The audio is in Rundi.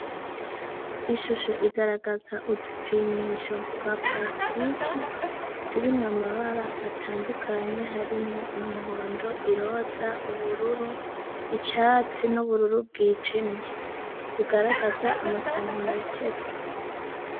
Ishusho igaragaza udupfimisho twa parasitike turimu mabara atandukanye harimo: umuhondo , iroza , ubururu , icatsi n'ubururu bw'ijimye ugaragaza amasantimetero.